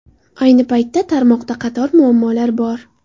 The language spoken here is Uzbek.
Ayni paytda, tarmoqda qator muammolar bor.